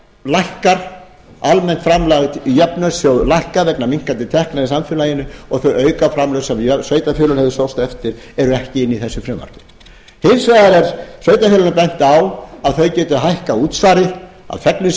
lækkar almennt framlag í jöfnunarsjóð lækkar vegna minnkandi tekna í samfélaginu og þau aukaframlög sem sveitarfélögin höfðu sóst eftir eru ekki inni í þessu frumvarpi hins vegar er sveitarfélögunum bent á að þau geti hækkað útsvarið á þegnum